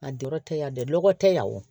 A jɔyɔrɔ tɛ yan dɛ lɔgɔ tɛ yan o